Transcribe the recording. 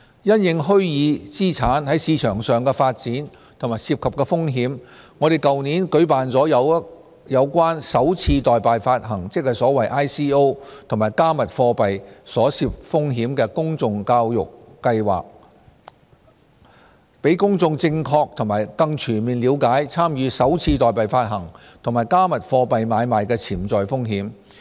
因應虛擬資產在市場上的發展和涉及的風險，我們在去年舉辦了有關"首次代幣發行"，即 ICO 及"加密貨幣"所涉風險的公眾教育活動，讓公眾正確和更全面了解參與"首次代幣發行"及"加密貨幣"買賣的潛在風險。